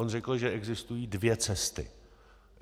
On řekl, že existují dvě cesty.